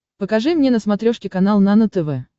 покажи мне на смотрешке канал нано тв